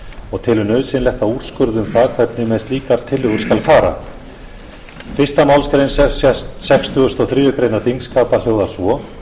og telur nauðsynlegt að úrskurða um það hvernig með slíkar tillögur skal fara fyrstu málsgrein sextugustu og þriðju greinar þingskapa hljóðar svo